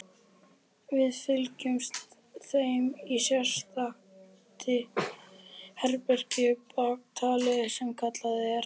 Við fylgjum þeim í sérstakt herbergi bakatil sem kallað er